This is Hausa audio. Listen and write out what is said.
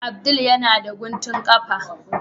Abdul yana da guntun kafa.